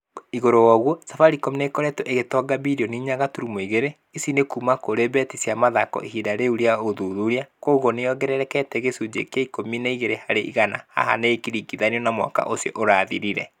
ĩguru woguo, Safaricom nĩ ĩkoretwo ĩgĩtonga birioni inya gaturumo igĩre. Ici ni kuuma kũrĩ beti cia mathako ihinda-inĩ rĩu rĩa ũthuthuria. Kwoguo nĩ ĩongererekete na gĩcunjĩ kĩa ikũmi na igĩre harĩ igana. Haha nĩ ikĩringithanio na mwaka ũcio ũrathirire.